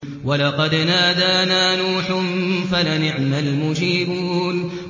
وَلَقَدْ نَادَانَا نُوحٌ فَلَنِعْمَ الْمُجِيبُونَ